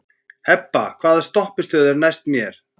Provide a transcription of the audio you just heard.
Hebba, hvaða stoppistöð er næst mér?